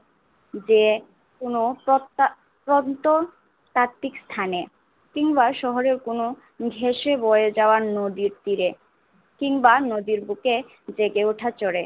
দে কোন ততা আহ প্রত্ন তক্তি স্থানে কিংবা শহরে কোন ভেসে বয়ে যাওয়া নদীর তীরে কিংবা নদীর বুকে জেগে ওঠা চড়ে